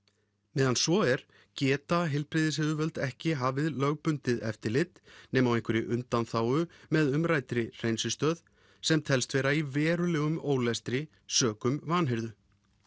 meðan svo er geta heilbrigðisyfirvöld ekki hafið lögbundið eftirlit nema á einhverri undanþágu með umræddri hreinsistöð sem telst vera í verulegum ólestri sökum vanhirðu